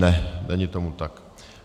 Ne, není tomu tak.